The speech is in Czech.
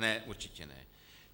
Ne, určitě ne.